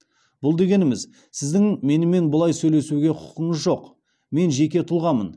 бұл дегеніміз сіздің менімен бұлай сөйлесуге құқыңыз жоқ мен жеке тұлғамын